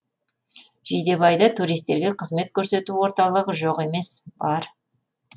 жидебайда туристерге қызмет көрсету орталығы жоқ емес бар